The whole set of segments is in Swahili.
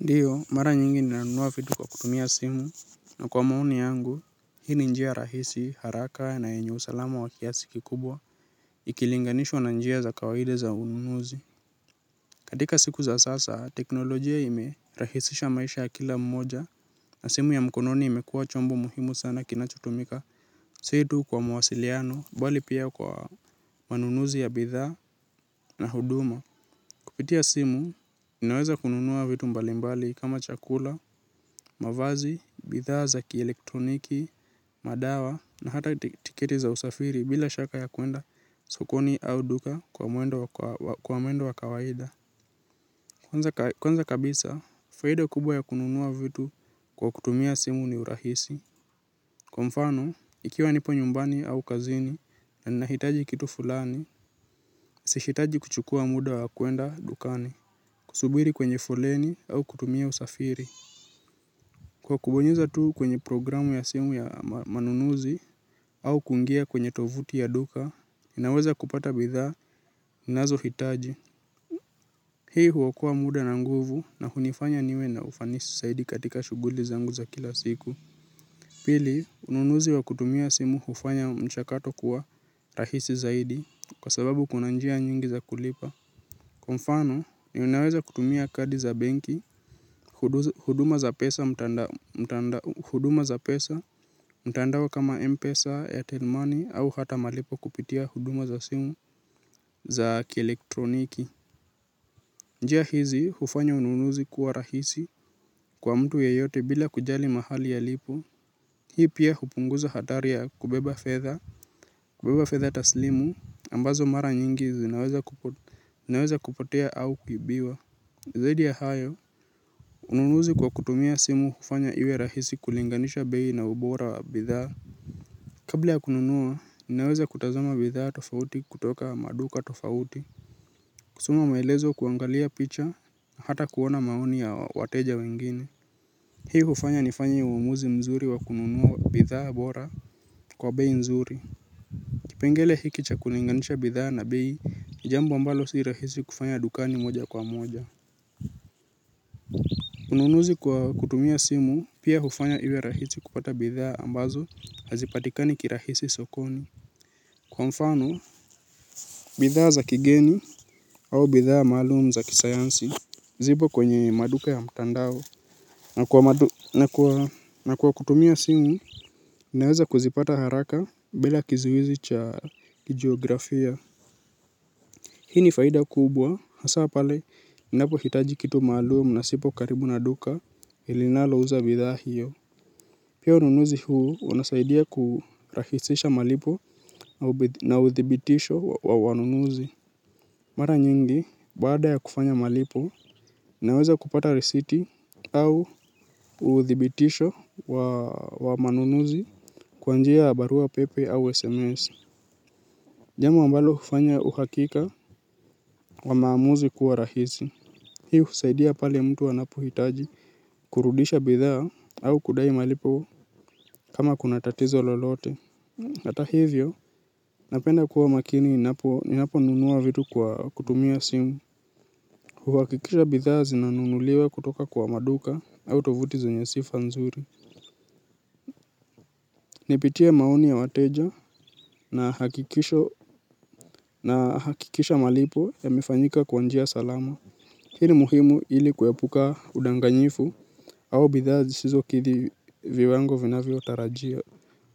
Ndiyo, mara nyingi nina nunua vitu kwa kutumia simu, na kwa maoni yangu, hii ni njia rahisi, haraka na yenye usalama wa kiasi kikubwa, ikilinganishwa na njia za kawaida za ununuzi. Katika siku za sasa, teknolojia imerahisisha maisha ya kila mmoja, na simu ya mkononi imekuwa chombo muhimu sana kinachotumika si tu kwa mwasiliano, bali pia kwa manunuzi ya bidhaa na huduma. Kupitia simu, ninaweza kununua vitu mbalimbali kama chakula, mavazi, bidhaa za kielektroniki, madawa na hata tiketi za usafiri bila shaka ya kuenda sokoni au duka kwa mwendo wa kawaida. Kwanza kabisa, faida kubwa ya kununua vitu kwa kutumia simu ni urahisi. Kwa mfano, ikiwa nipo nyumbani au kazini na ninahitaji kitu fulani, sihitaji kuchukua muda wa kwenda dukani. Kusubiri kwenye foleni au kutumia usafiri. Kwa kubonyeza tu kwenye programu ya simu ya manunuzi au kungia kwenye tovuti ya duka, inaweza kupata bidhaa ninazo hitaji. Hii huokoa muda na nguvu na hunifanya niwe na ufanisi saidi katika shughuli zangu za kila siku. Pili, ununuzi wa kutumia simu hufanya mchakato kuwa rahisi zaidi kwa sababu kuna njia nyingi za kulipa. Kwa mfano ni unaweza kutumia kadi za benki, huduma za pesa mtandao kama Mpesa, Airtel money au hata malipo kupitia huduma za simu za kielektroniki. Njia hizi hufanya ununuzi kuwa rahisi kwa mtu yeyote bila kujali mahali alipo, hii pia hupunguza hatari ya kubeba fedha, kubeba fedha taslimu ambazo mara nyingi zinaweza kupotea au kibiwa. Zaidi ya hayo. Ununuzi kwa kutumia simu hufanya iwe rahisi kulinganisha bei na ubora wa bidhaa. Kabla ya kununua ninaweza kutazama bidhaa tofauti kutoka maduka tofauti. Kusoma maelezo kuangalia picha na hata kuona maoni ya wateja wengine. Ivyo hufanya nifanye uamuzi mzuri wa kununua bidhaa bora kwa bei mzuri kipengele hiki cha kulinganisha bidhaa na bei ni jambo ambalo si rahisi kufanya dukani moja kwa moja. Ununuzi kwa kutumia simu pia hufanya iwe rahisi kupata bidhaa ambazo hazipatikani kirahisi sokoni, kwa mfano, bidhaa za kigeni au bidhaa maalum za kisayansi zipo kwenye maduka ya mtandao. Na kwa kutumia simu, naweza kuzipata haraka bila kizuizi cha kijiografia. Hii ni faida kubwa, hasa pale, ninapohitaji kitu maalum na sipo karibu na duka i linalo uza bidhaa hiyo. Pia ununuzi huu unasaidia kurahisisha malipo na uthibitisho wa wanunuzi. Mara nyingi, baada ya kufanya malipo, naweza kupata risiti au uthibitisho wa wa manunuzi kwa njia ya barua pepe au SMS. Jambo ambalo hufanya uhakika wa maamuzi kuwa rahisi. Hii husaidia pale mtu anapohitaji kurudisha bidhaa au kudai malipo kama kuna tatizo lolote. Ata hivyo napenda kuwa makini ninapo ninaponunua vitu kwa kutumia simu. Huhakikisha bidhaa zinanunuliwa kutoka kwa maduka au tovuti zenye sifa nzuri. Nipitie maoni ya wateja na hakikisho na hakikisha malipo yamefanyika kwa njia salama. Hii ni muhimu ili kuepuka udanganyifu au bidhaa zisizokidhi viwango vinavyo tarajiwa.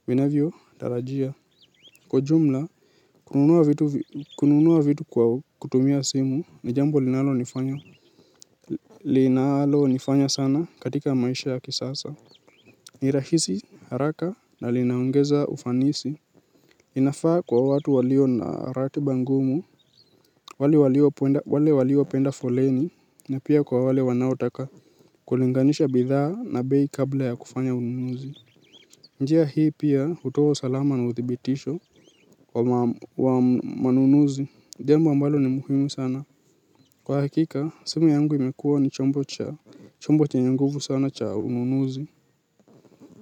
Vinavyo tarajia. Kwa ujumla kununua vitu vi kununua vitu kwa kutumia simu ni jambo linalo nifanya nifanya sana katika maisha ya kisasa. Ni rahisi haraka na linaongeza ufanisi. Inafaa kwa watu walio na ratiba ngumu wale walio wale waliopenda foleni na pia kwa wale wanaotaka. Kulinganisha bidhaa na bei kabla ya kufanya ununuzi. Njia hii pia hutoa usalama na uthibitisho wa mam wa manunuzi. Jambo ambalo ni muhimu sana. Kwa hakika, simu yangu imekuwa ni chombo cha chombo chenye nguvu sana cha ununuzi.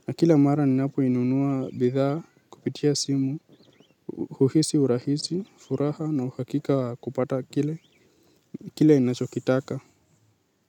Na kila mara ni napoinunua bidhaa kupitia simu. Huhisi urahisi, furaha na uhakika kupata kile. Kile ninachokitaka.